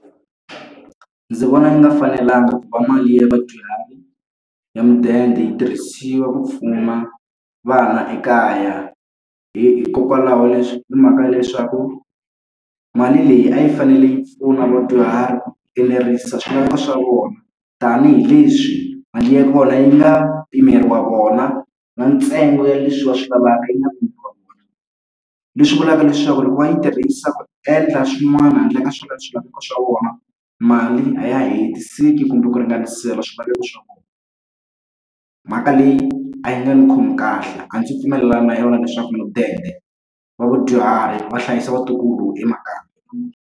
Ndzi vona yi nga fanelangi ku va mali ya vadyuhari ya mudende yi tirhisiwa ku pfuna vana ekaya, hikokwalaho hi mhaka ya leswaku mali leyi a yi fanele yi pfuna vadyuhari ku enerisisa swilaveko swa vona. Tanihi leswi mali ya kona yi nga pimeriwa vona na ntsengo ya leswi va swi lavaka yi nga pimeriwa vona. Leswi vulaka leswaku loko va yi tirhisa ku endla swin'wana handle ka swilaveko swa vona mali a ya hetisisi kumbe ku ringanisela swilaveko swa vona. Mhaka leyi a yi nga ni khomi kahle, a ndzi pfumelelani na yona leswaku mudende wa vadyuhari va hlayisa vatukulu emakaya.